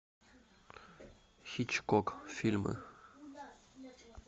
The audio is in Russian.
хичкок фильмы